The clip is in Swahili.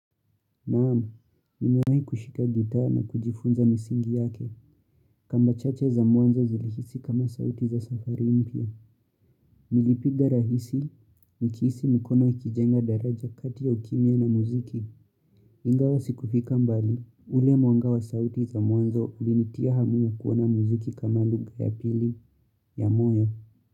Naam nimewai kushika gita na kujifunza misingi yake kamba chache za mwanzo zilhisi kama sauti za safari mpya. Nilipiga rahisi, nikihisi mikono ikijenga daraja kati ya ukimya na muziki. Ingawa sikufika mbali, ule mwanga wa sauti za mwanzo ulinitia hamu ya kuona muziki kama luga ya pili ya moyo.